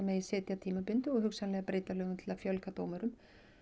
setja tímabundið og hugsanlega breyta lögum til að fjölga dómurum